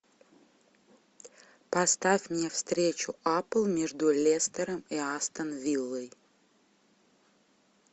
поставь мне встречу апл между лестером и астон виллой